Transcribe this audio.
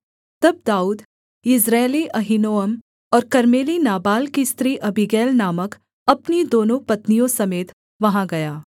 तब दाऊद यिज्रेली अहीनोअम और कर्मेली नाबाल की स्त्री अबीगैल नामक अपनी दोनों पत्नियों समेत वहाँ गया